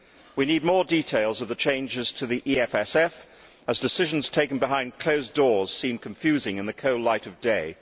We need more details of the changes to the EFSF, as decisions taken behind closed doors seem confusing in the cold light of day.